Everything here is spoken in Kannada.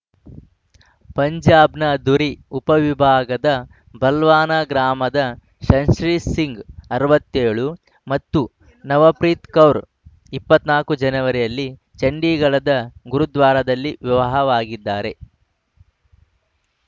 ಪಂಜಾಬ್‌ನ ಧುರಿ ಉಪವಿಭಾಗದ ಬಲ್ವಾನ ಗ್ರಾಮದ ಶಂಶೀರ್‌ ಸಿಂಗ್‌ ಅರವತ್ತೆಳು ಮತ್ತು ನವಪ್ರೀತ್‌ ಕೌರ್‌ ಇಪ್ಪತ್ತ್ ನಾಕು ಜನವರಿಯಲ್ಲಿ ಚಂಡಿಗಢದ ಗುರುದ್ವಾರದಲ್ಲಿ ವಿವಾಹವಾಗಿದ್ದಾರೆ